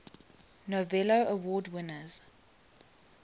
novello award winners